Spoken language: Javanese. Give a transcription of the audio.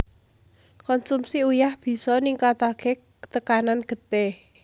Konsumsi uyah bisa ningkataké tekanan getih